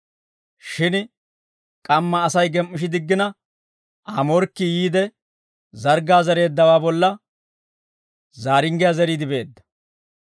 Shin k'amma Asay gem"ishidiggina, Aa morkkii yiide, zarggaa zereeddawaa bolla zaaringgiyaa zeriide beedda.